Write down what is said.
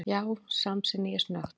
Já, samsinni ég snöggt.